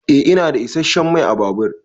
Eh ina da isasshen Mai ã babur.